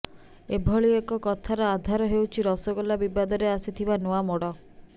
ଏଭଳି ଏକ କଥାର ଆଧାର ହେଉଛି ରସଗୋଲା ବିବାଦରେ ଆସିଥିବା ନୂଆ ମୋଡ